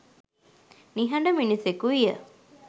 නිහඬ මිනිසෙකු විය.